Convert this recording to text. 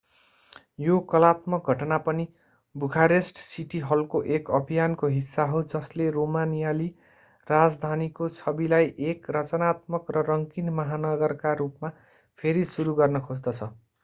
यो कलात्मक घटना पनि बुखारेस्ट सिटी हलको एक अभियानको हिस्सा हो जसले रोमानियाली राजधानीको छविलाई एक रचनात्मक र रंगीन महानगरका रूपमा फेरि सुरू गर्न खोज्दछ